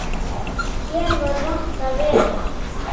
Hér var vont að vera.